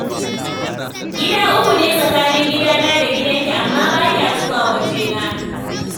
Gida uku ne fa tsakanin gidana da gidanki, amma ba kya zuwa wajena